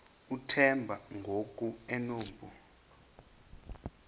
uthemba ngoku enompu